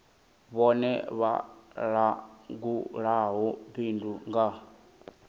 vhone vha langulaho bindu nga